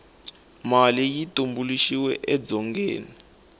mali yi tumbuluxiwe edzongeni